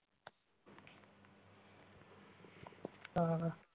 ਕਾਲਾ